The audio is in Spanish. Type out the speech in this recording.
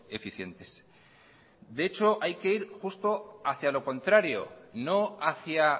eficientes de hecho hay que ir justo hacia lo contrario no hacia